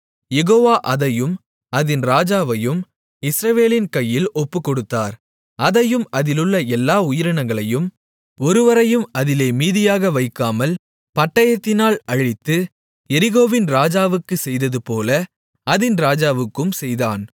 யெகோவா அதையும் அதின் ராஜாவையும் இஸ்ரவேலின் கையில் ஒப்புக்கொடுத்தார் அதையும் அதிலுள்ள எல்லா உயிரினங்களையும் ஒருவரையும் அதிலே மீதியாக வைக்காமல் பட்டயத்தினால் அழித்து எரிகோவின் ராஜாவுக்குச் செய்ததுபோல அதின் ராஜாவுக்கும் செய்தான்